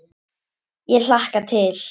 Ég hlakka til.